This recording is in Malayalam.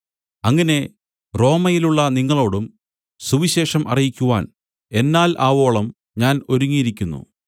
അങ്ങനെ റോമയിലുള്ള നിങ്ങളോടും സുവിശേഷം അറിയിക്കുവാൻ എന്നാൽ ആവോളം ഞാൻ ഒരുങ്ങിയിരിക്കുന്നു